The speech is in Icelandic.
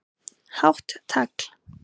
Hátt tagl